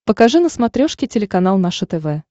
покажи на смотрешке телеканал наше тв